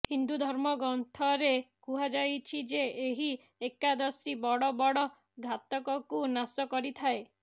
ହିନ୍ଦୁ ଧର୍ମ ଗ୍ରନ୍ଥରେ କୁହଯାଇଛି ଯେ ଏହି ଏକାଦଶୀ ବଡ ବଡ ଘାତକକୁ ନାଶ କରିଥାଏ